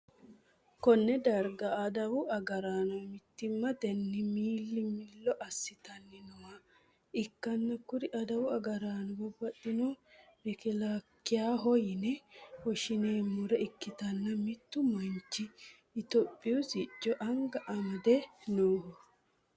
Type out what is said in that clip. konne darga adawu agaraano mittimmatenni milli-millo assitanni nooha ikkanna, kuri adawu agaraanono baxxinohunni mekkelaakiyaho yine woshshineemmore ikkitanna ,mittu manchi itiyoophiyu sicco anga amade nooho.